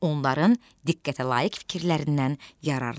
Onların diqqətə layiq fikirlərindən yararlan.